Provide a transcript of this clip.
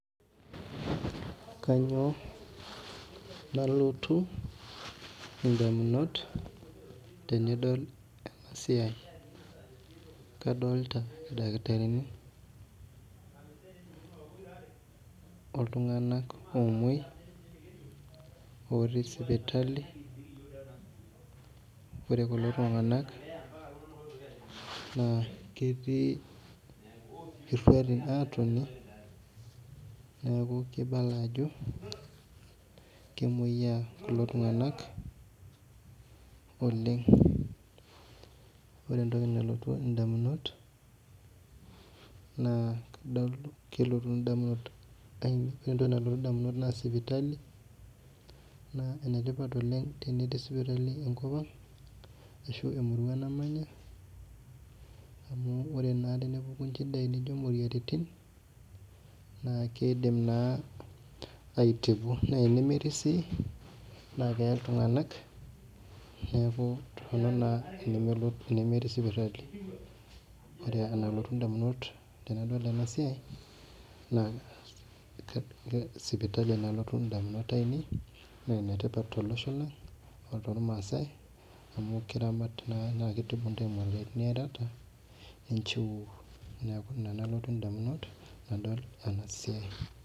Kanyio nalotu ndamunot tanadol enasiai kadolta ildakitarini oltunganak omoi otiibsipitali ore kulo tunganak naa ketii irautin na kibala ajo kemoyia kulo tunganak oleng ore entoki nalotu ndamunot na sipitali enetii sipitali enkop amg ashu emurua namanya amu ore naa tenepuku inchidai nijo imoyiaritin na kidim naa aitibu na tenimidim si keee ltunganak neaku toronok naa tenemetii sipitali ore enalotu ndamunot ainei tanadol enasiai na sipitali nalotu ndamunot ainei na enetipat oleng tormaasai amu kitibu ntae moyiaritin niatata ninchiu neaku ina nalotu ndamunot tanadol ena siai.